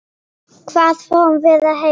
Hvað fáum við að heyra?